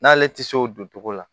N'ale tɛ se o don cogo la